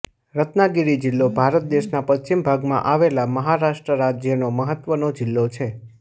રત્નાગિરી જિલ્લો ભારત દેશના પશ્ચિમ ભાગમાં આવેલા મહારાષ્ટ્ર રાજ્યનો મહત્વનો જિલ્લો છે